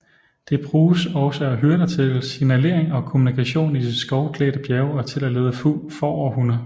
Det bruges også af hyrder til signalering og kommunikation i de skovklædte bjerge og til at lede får og hunde